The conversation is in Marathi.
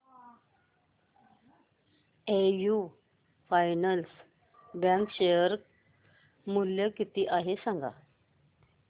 एयू फायनान्स बँक चे शेअर मूल्य किती आहे सांगा